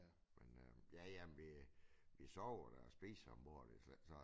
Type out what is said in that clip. Men øh ja ja men vi vi sover da og spiser om bord det er slet ikke sådan